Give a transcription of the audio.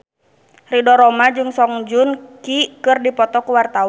Ridho Roma jeung Song Joong Ki keur dipoto ku wartawan